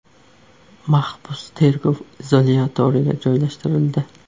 Mahbus tergov izolyatoriga joylashtirildi.